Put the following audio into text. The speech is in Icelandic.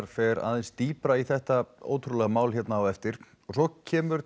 fer aðeins dýpra í þetta ótrúlega mál hérna á eftir svo kemur